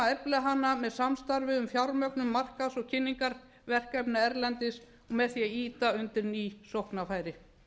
efla hana með samstarfi um fjármögnun markaðs og kynningarverkefna erlendis og með því að ýta undir ný sóknarfæri